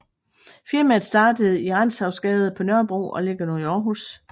Firmaet startede i Rantzausgade på Nørrebro og ligger nu i Aarhus